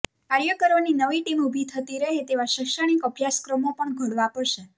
કાર્યકરોની નવી ટીમ ઊભી થતી રહે તેવા શૈક્ષણિક અભ્યાસક્રમો પણ ઘડવા પડશે